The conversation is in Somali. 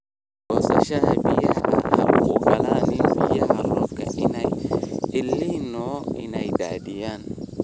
Goosashada biyaha Ha u ogolaan biyaha roobka ee El Niño inay daadiyaan.